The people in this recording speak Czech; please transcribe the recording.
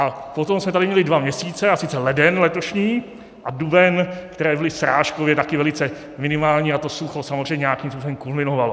A potom jsme tady měli dva měsíce, a sice leden letošní a duben, které byly srážkově také velice minimální, a to sucho samozřejmě nějakým způsobem kulminovalo.